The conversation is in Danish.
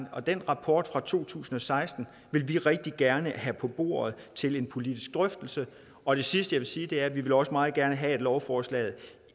og den rapport fra to tusind og seksten vil vi rigtig gerne have på bordet til en politisk drøftelse og det sidste jeg vil sige er at vi også meget gerne vil have at lovforslaget